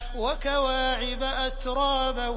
وَكَوَاعِبَ أَتْرَابًا